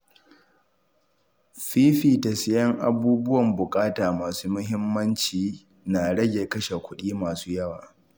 Fifita siyan abubuwan buƙata masu muhimmanci na rage kashe kuɗi masu yawa